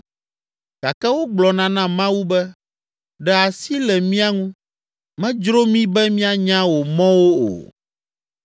gake wogblɔna na Mawu be, ‘Ɖe asi le mía ŋu! Medzro mí be míanya wò mɔwo o.